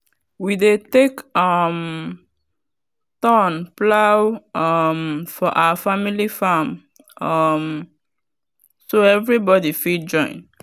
we dey take um turn plow um for our family farm um so everybody fit join.